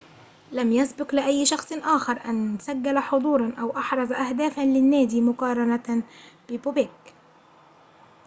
لم يسبق لأي شخص آخر أن سجل حضوراً أو أحرز أهدافاً للنادي مقارنة ببوبيك